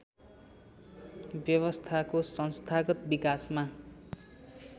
व्यवस्थाको संस्थागत विकासमा